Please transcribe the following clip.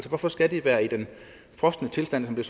hvorfor skal det være i den frosne tilstand som